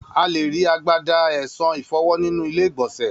A lé ri agbada esan ìfọwó nínú ilé ìgbònsè